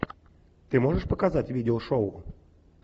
ты можешь показать видео шоу